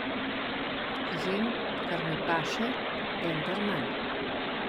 Jem, kar mi paše, vendar manj.